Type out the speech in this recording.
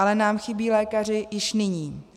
Ale nám chybí lékaři již nyní.